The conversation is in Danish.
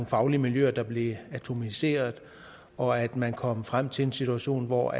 faglige miljøer der blev atomiseret og at man kom frem til en situation hvor